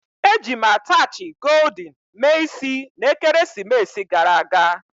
Eji m attachị goldin mee isi na ekeresimesi gara aga